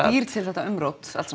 býr til þetta umrót allt